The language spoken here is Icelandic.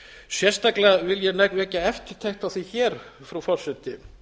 sérstaklega vil ég vekja eftirtekt á því hér frú forseti